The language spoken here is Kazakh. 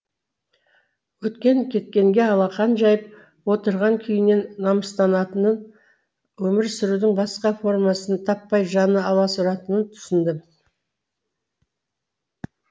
өткен кеткенге алақан жайып отырған күйінен намыстанатынын өмір сүрудің басқа формасын таппай жаны аласұратынын түсіндім